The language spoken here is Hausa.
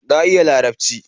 Na iya Larabci